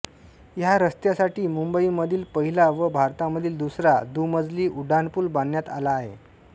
ह्या रस्त्यासाठी मुंबईमधील पहिला व भारतामधील दुसरा दुमजली उड्डाणपूल बांधण्यात आला आहे